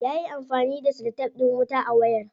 Yayi amfani da celotef din wuta a wayar.